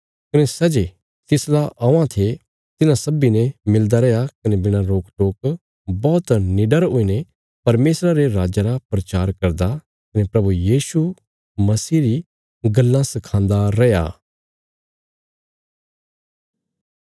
कने सै जे तिसला औवां थे तिन्हां सब्बीं ने मिलदा रैया कने बिणा रोक टोक बौहत निडर हुईने परमेशरा रे राज्जा रा प्रचार करदा कने प्रभु यीशु मसीह री गल्लां सखांदा रैया